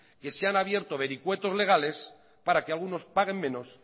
que se han abierto vericuetos legales para que algunos paguen menos